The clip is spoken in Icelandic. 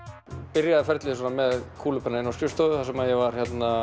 byrjaði ferlið með kúlupenna inn á skrifstofu þar sem ég var